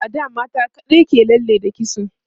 a da mata kaɗai ke lalle da kitso